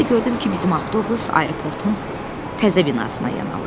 Bir də gördüm ki, bizim avtobus aeroportun təzə binasına yan alır.